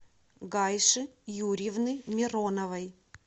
гайши юрьевны мироновой